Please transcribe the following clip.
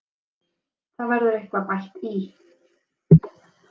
Það verður eitthvað bætt í.